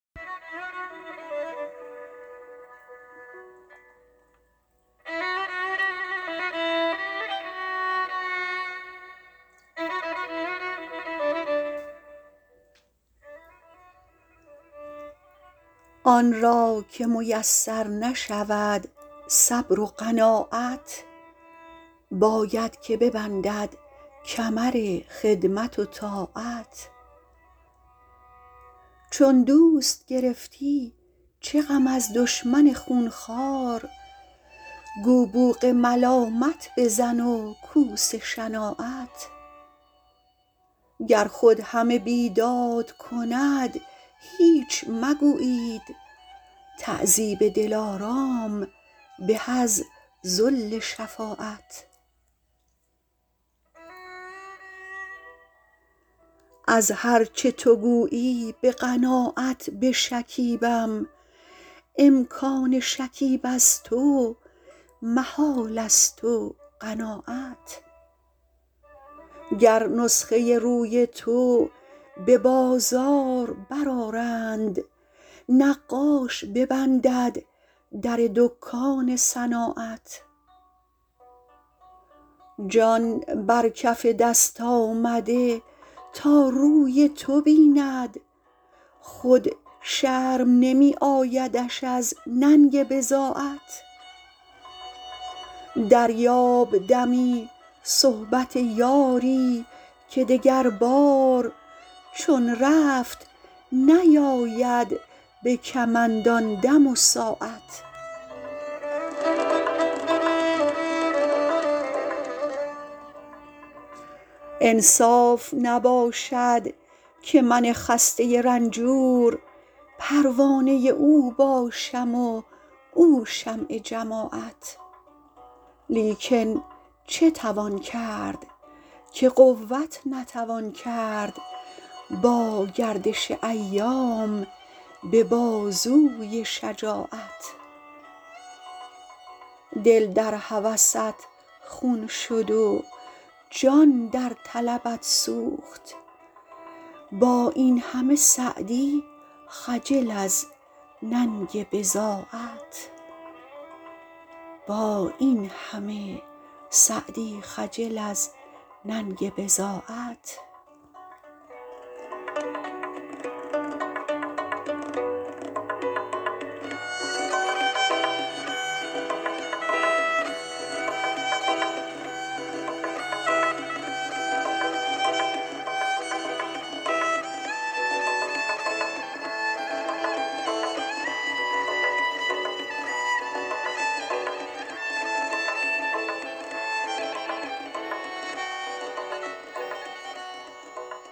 آن را که میسر نشود صبر و قناعت باید که ببندد کمر خدمت و طاعت چون دوست گرفتی چه غم از دشمن خونخوار گو بوق ملامت بزن و کوس شناعت گر خود همه بیداد کند هیچ مگویید تعذیب دلارام به از ذل شفاعت از هر چه تو گویی به قناعت بشکیبم امکان شکیب از تو محالست و قناعت گر نسخه روی تو به بازار برآرند نقاش ببندد در دکان صناعت جان بر کف دست آمده تا روی تو بیند خود شرم نمی آیدش از ننگ بضاعت دریاب دمی صحبت یاری که دگربار چون رفت نیاید به کمند آن دم و ساعت انصاف نباشد که من خسته رنجور پروانه او باشم و او شمع جماعت لیکن چه توان کرد که قوت نتوان کرد با گردش ایام به بازوی شجاعت دل در هوست خون شد و جان در طلبت سوخت با این همه سعدی خجل از ننگ بضاعت